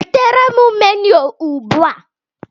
Wetere m menu ugbu a